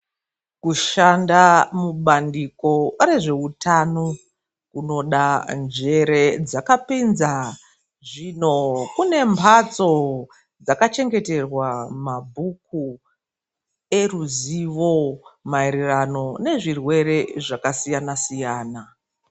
Kushanda mubandiko rezveutano kunoda njere dzakapinza. Zvino kune mhatso dzakachengeterwa mabhuku eruzivo maererano nezvirwere zvakasiyana siyana.